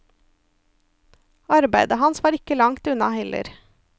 Arbeidet hans var ikke langt unna heller.